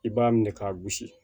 I b'a minɛ k'a gosi